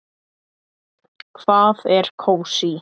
Hvað er kósí?